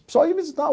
O pessoal ia visitar.